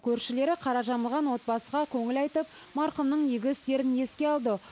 көршілері қара жамылған отбасыға көңіл айтып марқұмның игі істерін еске алды